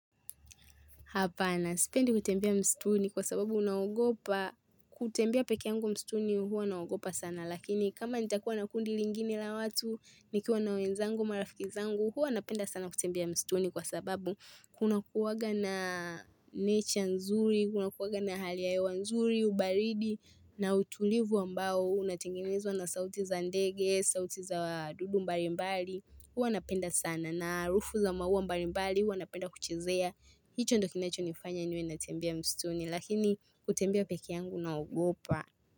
Hapana, sipendi kutembea msituni kwa sababu naaogopa, kutembea pekee yangu msituni huwa naogopa sana. Lakini kama nitakuwa na kundi lingine la watu, nikiwa na wenzangu, marafiki zangu, huwa napenda sana kutembea msituni kwa sababu kunakuwanga na nature nzuri, kunakuwanga na hali ya hewa nzuri, ubaridi, na utulivu ambao, unatengenezwa na sauti za ndege, sauti za dudu mbali mbali, huwa napenda sana. Na harufu za mauwa mbali mbali huwa napenda kuchezea. Hicho ndo kinacho nifanya niwe natembea msituni lakini kutembea pekee yangu naogopa.